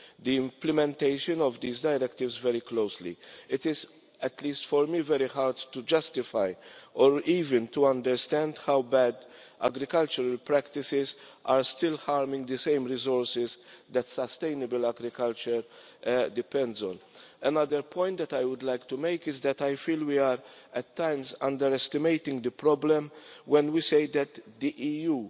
the implementation of this directive very closely. It is, at least for me, hard to justify, or even to understand, how bad agricultural practices are still harming the very resources that sustainable agriculture depends on. Another point I would like to make is that I feel we are, at times, underestimating the problem when we say that the